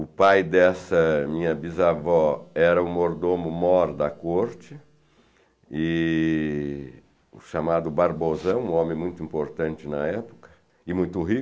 O pai dessa minha bisavó era o mordomo-mor da corte, e chamado Barbosão, um homem muito importante na época e muito rico.